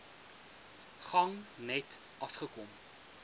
gang net afgekom